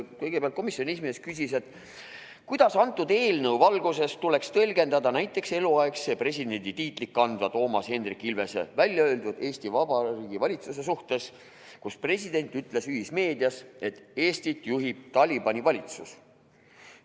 Kõigepealt küsis komisjoni esimees, kuidas antud eelnõu valguses tuleks tõlgendada näiteks eluaegse presidendi tiitlit kandva Toomas Hendrik Ilvese väljaöeldut Eesti Vabariigi valitsuse suhtes: president ütles ühismeedias, et Eestit juhib Talibani valitsus.